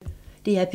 DR P1